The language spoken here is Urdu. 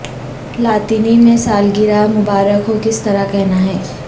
لاطینی میں سالگرہ مبارک ہو کس طرح کہنا ہے